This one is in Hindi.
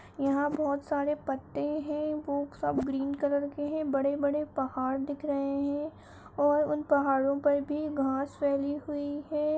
यहाँ बहुत सारे पत्ते हैं वो सब ग्रीन कलर के हैं बड़े बड़े पहाड़ दिख रहे हैं और उन पहाड़ो पर भी घास फैली हुई है।